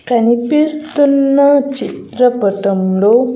కనిపిస్తున్నా చిత్ర పటం లో.